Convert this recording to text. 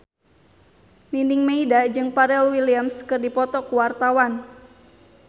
Nining Meida jeung Pharrell Williams keur dipoto ku wartawan